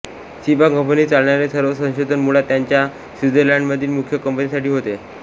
सिबा कंपनीत चालणारे सर्व संशोधन मुळात त्यांच्या स्वित्झर्लंडमधील मुख्य कंपनीसाठी होते